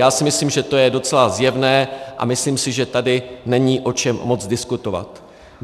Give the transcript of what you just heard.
Já si myslím, že to je docela zjevné, a myslím si, že tady není o čem moc diskutovat.